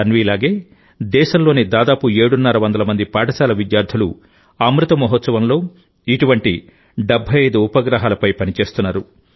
తన్విలాగేదేశంలోని దాదాపు ఏడున్నర వందల మంది పాఠశాల విద్యార్థులు అమృత మహోత్సవంలో ఇటువంటి 75 ఉపగ్రహాలపై పని చేస్తున్నారు